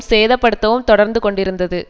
சேதப்படுத்தவும் தொடர்ந்துகொண்டிருந்தது